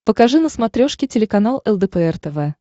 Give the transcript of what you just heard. покажи на смотрешке телеканал лдпр тв